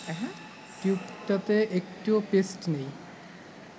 টিউবটাতে একটুও পেস্ট নেই